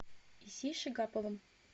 исей шигаповым